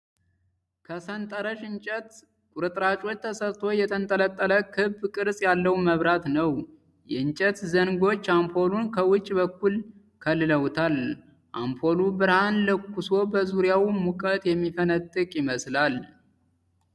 ከሰንጠረዥ እንጨት ቁርጥራጮች ተሰርቶ የተንጠለጠለ ክብ ቅርጽ ያለው መብራት ነው። የእንጨት ዘንጎች አምፖሉን ከውጪ በኩል ከልለውታል። አምፖሉ ብርሃን ለኩሶ በዙሪያው ሙቀት የሚፈነጥቅ ይመስላል።